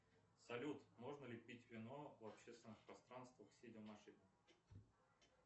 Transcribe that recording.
салют можно ли пить вино в общественных пространствах сидя в машине